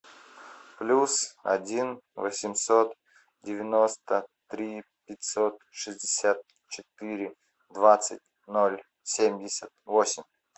плюс один восемьсот девяносто три пятьсот шестьдесят четыре двадцать ноль семьдесят восемь